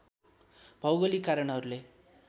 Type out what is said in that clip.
भौगोलिक कारणहरूले